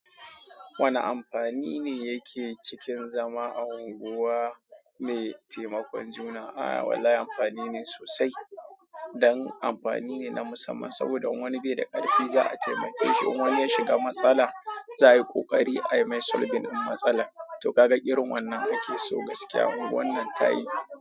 Wane amfani ne yake cikin zama a unguwa mai taimakon juna? Ah wallahi amfani ne sosai dan amfani ne na musamman saboda in wani bai da ƙarfi za a taimake shi. In wani ya shiga matsala za a yi ƙoƙari a yi mai sulbin in matsalar. To kaga irin wannan ake so gaskiya. Unguwan nan tayi.